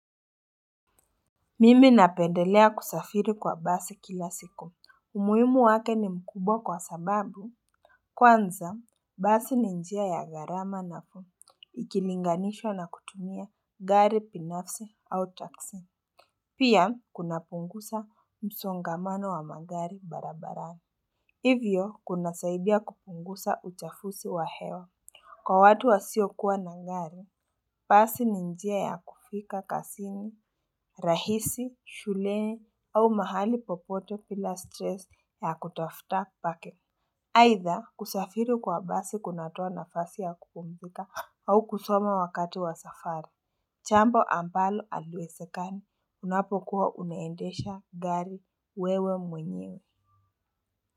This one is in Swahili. Mimi napendelea kusafuri kwa basi kila siku, umuhimu wake ni mkubwa kwa sababu kwanza basi ni njia ya gharama nafuu ikilinganishwa na kutumia gari binafsi au taksi. Pia kunapunguza msongamano wa magari barabarani. Hivyo kunasaidia kupunguza uchafuzi wa hewa. Kwa watu wasio kuwa na gari, basi ni njia ya kufika kazini, rahisi, shuleni au mahali popote bila stress ya kutafuta pake. Aidha kusafiri kwa basi kunatoa nafasi ya kupumzika au kusoma wakati wa safari. Jambo ambalo haliwezekani unapokuwa unaendesha gari wewe mwenyewe.